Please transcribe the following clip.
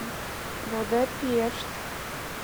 будапешт